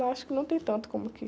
Lá acho que não tem tanto como aqui.